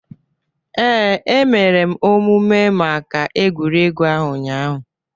Ee, emere m omume maka egwuregwu ahụ ụnyaahụ.